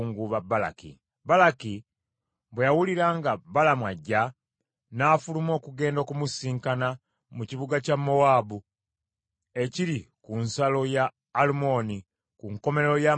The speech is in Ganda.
Balaki bwe yawulira nga Balamu ajja, n’afuluma okugenda okumusisinkana mu kibuga kya Mowaabu ekiri ku nsalo ya Alumoni, ku nkomerero y’amatwale ge.